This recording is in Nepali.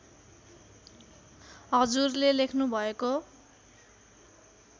हजुरले लेख्नुभएको